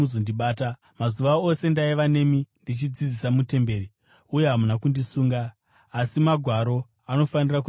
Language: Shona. Mazuva ose ndaiva nemi, ndichidzidzisa mutemberi, uye hamuna kundisunga. Asi Magwaro anofanira kuzadziswa.”